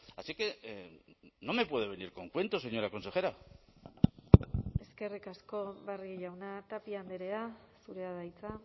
así que no me puede venir con cuentos señora consejera eskerrik asko barrio jauna tapia andrea zurea da hitza